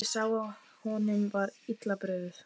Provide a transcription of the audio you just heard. Ég sá að honum var illa brugðið.